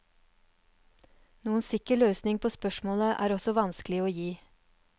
Noen sikker løsning på spørsmålet er også vanskelig å gi.